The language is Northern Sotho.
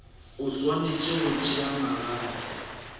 o swanetše go tšea magato